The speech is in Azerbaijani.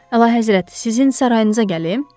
Əlahəzrət, sizin sarayınıza gəlim?